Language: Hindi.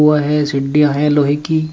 उपर में सीडीयां है लोहे की।